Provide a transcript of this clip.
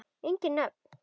Engin nöfn.